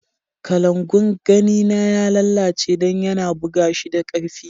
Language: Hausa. Kalangu'n kani na ya lallace dan ya na buga shi da karfi.